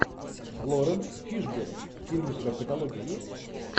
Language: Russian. лоренс фишберн фильм у тебя в каталоге есть